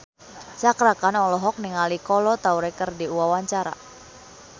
Cakra Khan olohok ningali Kolo Taure keur diwawancara